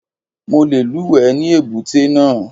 Mo le lúùwẹ́ ní èbúté náà.